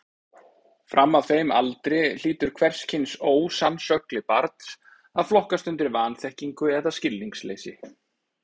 Fram að þeim aldri hlýtur hvers kyns ósannsögli barns að flokkast undir vanþekkingu eða skilningsleysi.